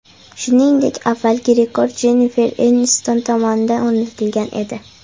Shuningdek, avvalgi rekord Jennifer Enniston tomonidan o‘rnatilgan edi.